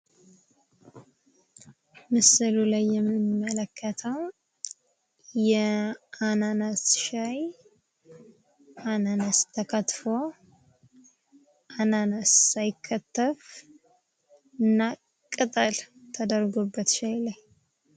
ምስሉ ላይ የምንመለከተው የአናናስ ሻይ አናናስ ተከትፎ፣ አናናስ ሳይከተፍ እና ቅጠል ተደርጎበት ሻዩ ላይ።